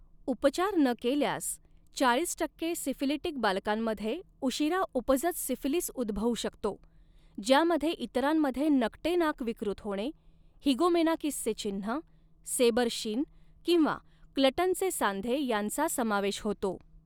उपचार न केल्यास, चाळीस टक्के सिफिलिटिक बालकांमध्ये उशीरा उपजत सिफिलीस उद्भवू शकतो, ज्यामध्ये इतरांमध्ये नकटे नाक विकृत होणे, हिगोमेनाकिसचे चिन्ह, सेबर शिन किंवा क्लटनचे सांधे यांचा समावेश होतो.